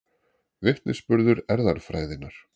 Vitnisburður erfðafræðinnar.